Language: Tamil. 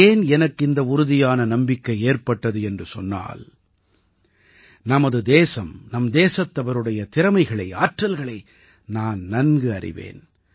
ஏன் எனக்கு இந்த உறுதியான நம்பிக்கை ஏற்பட்டது என்று சொன்னால் நமது தேசம் நம் தேசத்தவருடைய திறமைகளை ஆற்றல்களை நான் நன்கு அறிவேன்